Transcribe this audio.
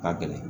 Ka gɛlɛn